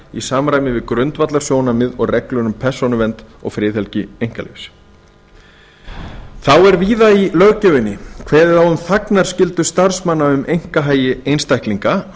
í samræmi við grundvallarsjónarmið og reglur um persónuvernd og friðhelgi einkalífs þá er víða í löggjöfinni kveðið á um þagnarskyldu starfsmanna um einkahagi einstaklinga